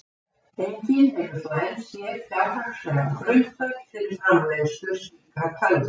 Enginn hefur þó enn séð fjárhagslegan grundvöll fyrir framleiðslu slíkra tölva.